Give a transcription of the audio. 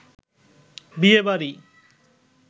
বিয়ে বাড়ি